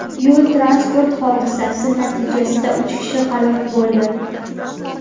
Yo‘l-transport hodisasi natijasida uch kishi halok bo‘ldi.